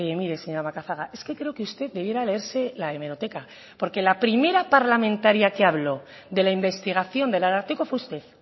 mire señora macazaga es que creo que usted debiera leerse la hemeroteca porque la primera parlamentaria que habló de la investigación del ararteko fue usted